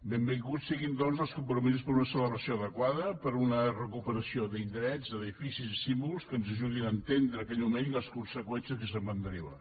benvinguts siguin doncs els compromisos per a una celebració adequada per a una recuperació d’indrets d’edificis i símbols que ens ajudin a entendre aquell moment i les conseqüències que se’n van derivar